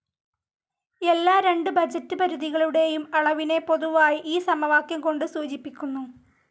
എല്ലാ രണ്ട് ബഡ്ജറ്റ്‌ പരിധികളുടെയും അളവിനെ പൊതുവായി ഈ സമവാക്യം കൊണ്ട് സൂചിപ്പിക്കുന്നു.